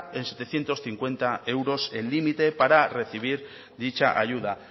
en setecientos cincuenta euros el límite para recibir dicha ayuda